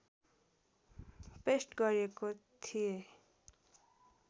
paste गरेको थिएँ